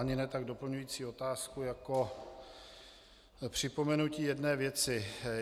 Ani ne tak doplňující otázku jako připomenutí jedné věci.